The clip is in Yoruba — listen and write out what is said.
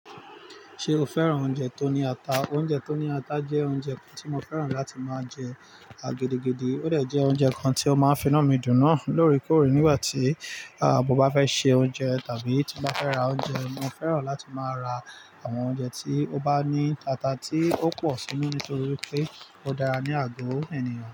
Ṣé o fẹ́ràn oúnjẹ tó ní ata? Oúnjẹ tó ní ata jẹ́ oúnjẹ kan tí mo fẹ́ràn láti máa jẹ, à gedegede. Ó dẹ̀ jẹ́ oúnjẹ kan tí ó máa ń finu mi dùn náà lóòrèkóòrè nígbà tí, à, mo bá fẹ́ se oúnjẹ tàbí tí mo bá fẹ́ ra oúnjẹ. Mo fẹ́ràn láti máa ra àwọn oúnjẹ tí ó bá ní ata tí ó pọ̀ nínú nítorí pé ó dára ní àgọ́ ènìyàn.